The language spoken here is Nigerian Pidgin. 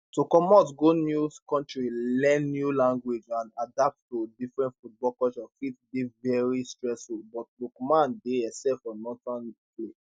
to comot go new kontri learn new language and adapt to different football culture fit dey veri stressful but lookman dey excel for northern italy